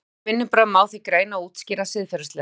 Fagleg vinnubrögð má því greina og útskýra siðfræðilega.